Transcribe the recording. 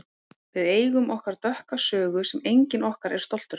Við eigum okkar dökka sögu sem enginn okkar er stoltur af.